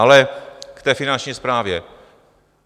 Ale k té Finanční správě.